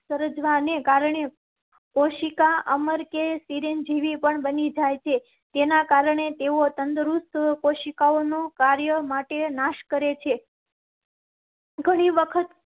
સર્જાવા ને કારણે કોશિકા અમર કે સિર જી પણ બની જાયે. જેના કારણે તેઓ તંદુરસ્ત કોશિકાઓ નો કાર્ય માટે નાશ કરેં છે. ઘણી વખત